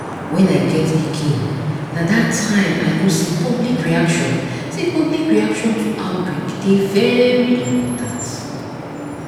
when i get pikinna that time i know say public reaction say public reaction to outbreak dey very important